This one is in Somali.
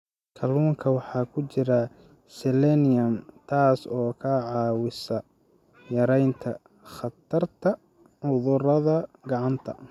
Kalluunka waxaa ku jira selenium, taas oo ka caawisa yaraynta khatarta cudurada gacanta.